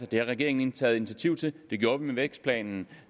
det har regeringen taget initiativ til det gjorde vi med vækstplanen